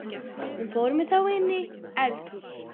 Hún fór með þá inní eldhús.